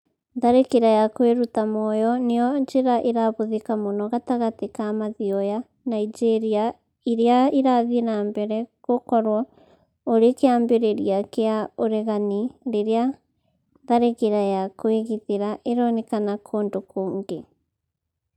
Tharĩkĩra ya kwĩruta muoyo nĩyo njĩra ĩrahũthĩka mũno gatagatĩ ka mathioya , Nigeria irĩa irathiĩ na mbere gũkorwo ũrĩ kĩambĩrĩa kĩa ũreganĩ rĩrĩa tharĩkĩra ya kwĩgitira ironekana kũndũ kũngĩ